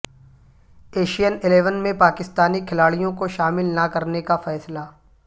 Asian eleven میں پاکستانی کھلاڑیوں کا شامل نہ کرنے کا فیصلہ